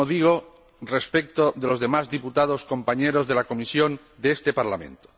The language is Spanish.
Y lo mismo digo respecto de los demás diputados, compañeros de la comisión de este Parlamento.